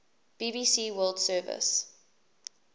bbc world service